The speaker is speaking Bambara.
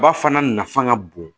Ba fana nafa ŋa bon